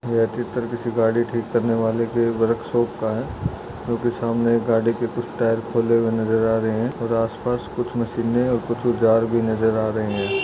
यह चित्र किसी गाड़ी ठीक करने वाले के वर्कशॉप का है जोकि सामने एक गाड़ी के कुछ टायर खोले हुए नजर आ रहे हैं और आसपास कुछ मशीने और कुछ औजार भी नजर आ रहे हैं।